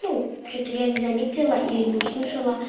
ну что-то я не заметила или не услышу